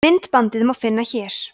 myndbandið má finna hér